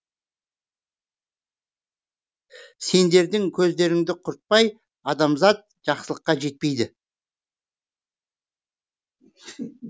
сендердің көздеріңді құртпай адамзат жақсылыққа жетпейді